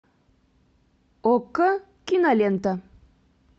окко кинолента